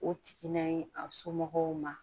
O tigi n'a ye a somɔgɔw ma